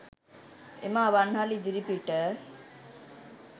එ‍ම ‍අ‍වන්‍හ‍ල ‍ඉ‍දි‍රි‍පි‍ට